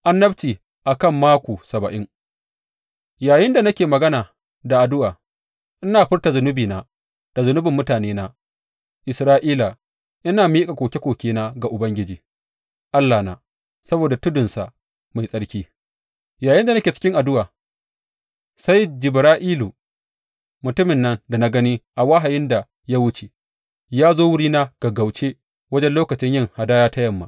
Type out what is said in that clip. Annabci a kan Mako Saba’in Yayinda da nake magana da addu’a, ina furta zunubina da zunubin mutanena Isra’ila ina miƙa koke kokena ga Ubangiji Allahna saboda tudunsa mai tsarki, yayinda nake cikin addu’a, sai Jibra’ilu, mutumin nan da na gani a wahayin da ya wuce, ya zo wurina gaggauce wajen lokacin yin hadaya ta yamma.